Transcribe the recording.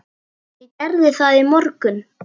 Ég gerði það í morgun.